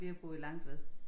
Vi har boet Langtved